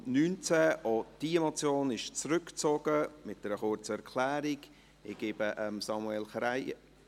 Auch diese Motion wird mit einer kurzen Erklärung zurückgezogen.